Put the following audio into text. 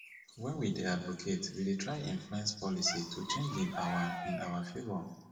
when we dey advocate we de try influence policy to change in our in our favour